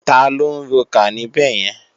Taló ń rokà níbẹ̀yẹn?